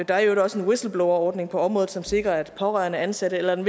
der er i øvrigt også en whistleblowerordning på området som sikrer at pårørende ansatte eller en